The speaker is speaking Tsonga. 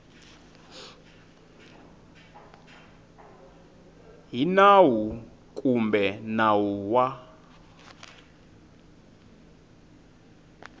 hi nawu kumbe nawu wa